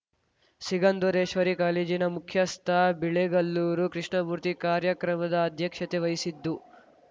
ಸಿಗಂಧೂರೇಶ್ವರಿ ಕಾಲೇಜಿನ ಮುಖ್ಯಸ್ಥ ಬಿಳೆಗಲ್ಲೂರು ಕೃಷ್ಣಮೂರ್ತಿ ಕಾರ್ಯಕ್ರಮದ ಅಧ್ಯಕ್ಷತೆ ವಹಿಸಿದ್ದು